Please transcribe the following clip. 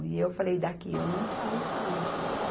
E eu falei, daqui eu não saio mais.